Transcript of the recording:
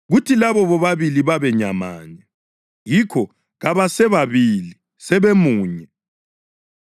kuthi labo bobabili babe nyamanye.’ + 10.8 UGenesisi 2.24 Yikho kabasebabili, sebemunye.